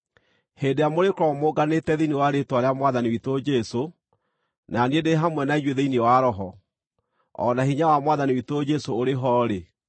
Hĩndĩ ĩrĩa mũrĩkorwo mũnganĩte thĩinĩ wa rĩĩtwa rĩa Mwathani witũ Jesũ, na niĩ ndĩ hamwe na inyuĩ thĩinĩ wa roho, o na hinya wa Mwathani witũ Jesũ ũrĩ ho-rĩ,